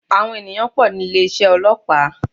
Àwọn ènìyàn pò ní ilé isé ọlọ́pàá